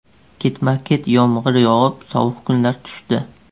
Ketma-ket yomg‘ir yog‘ib, sovuq kunlar tushdi.